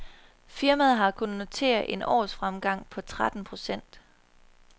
Firmaet har kunnet notere en årsfremgang på hele tretten procent.